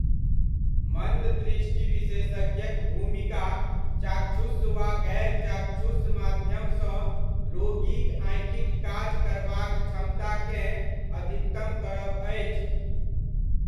मन्द दृष्टि विशेषज्ञक भूमिका चाक्षुष वा गैर चाक्षुष माध्यमसँ रोगीक आँखिक काज करबाक क्षमताकेँ अधिकतम करब अछि।